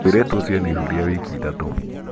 mũirĩtu ũcio ena ihu rĩa wiki ithatũ